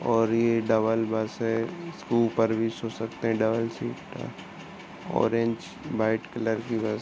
और ये double bus है। जिसके ऊपर भी सो सकते हैं। Double seat orange white colour की बस --